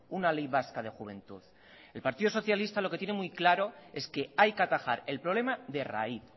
una ley vasca de juventud el partido socialista lo que tiene muy claro es que hay que atajar el problema de raíz